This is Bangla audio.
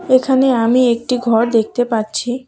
এখানে আমি একটি ঘর দেখতে পাচ্ছি।